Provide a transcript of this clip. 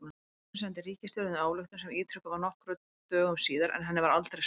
Fundurinn sendi ríkisstjórninni ályktun sem ítrekuð var nokkrum dögum síðar, en henni var aldrei svarað.